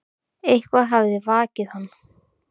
Eitthvað hafði vakið hann.